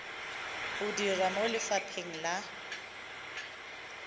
o dira mo lefapheng la